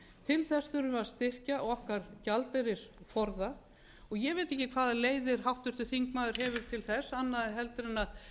til þess þurfum við að styrkja okkar gjaldeyrisforða og ég veit ekki hvaða leiðir háttvirtur þingmaður hefur til þess aðrar en að